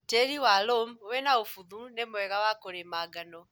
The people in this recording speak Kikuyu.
Tĩri wa lũmu wĩna ũbuthu nĩmwega wa kũrĩma ngano.